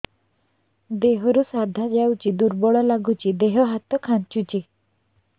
ଦେହରୁ ସାଧା ଯାଉଚି ଦୁର୍ବଳ ଲାଗୁଚି ଦେହ ହାତ ଖାନ୍ଚୁଚି